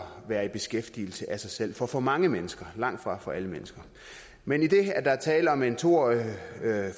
være i beskæftigelse af sig selv for for mange mennesker langtfra for alle mennesker men idet der er tale om en to årig